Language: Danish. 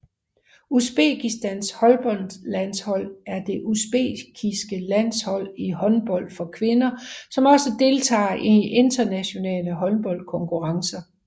Usbekistans håndboldlandshold er det usbekiske landshold i håndbold for kvinder som også deltager i internationale håndboldkonkurrencer